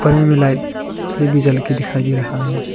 Light भी जल के दिखाई दे रहा है।